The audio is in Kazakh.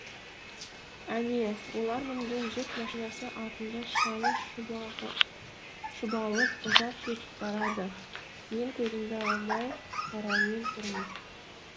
әне олар мінген жүк машинасы артында шаңы шұбалып ұзап кетіп барады мен көзімді алмай қараумен тұрмын